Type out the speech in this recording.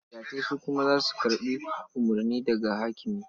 Dagatai su kuma za su karɓi umurni daga hakimi.